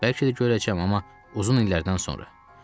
Bəlkə də görəcəm, amma uzun illərdən sonra.